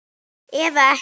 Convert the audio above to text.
Eða ekki.